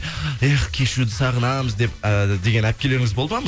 эх кешьюды сағынамыз деп э деген әпкелеріңіз болды ма